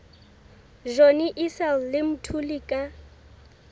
johnny issel le mthuli ka